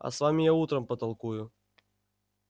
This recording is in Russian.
а с вами я утром потолкую